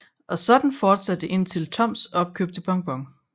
Og sådan fortsatte det indtil Toms opkøbte Bon Bon